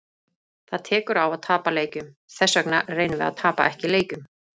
Það tekur á að tapa leikjum, þessvegna reynum við að tapa ekki leikjum.